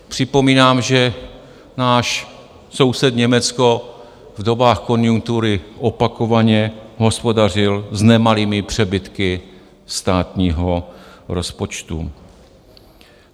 Připomínám, že náš soused Německo v dobách konjunktury opakovaně hospodařil s nemalými přebytky státního rozpočtu.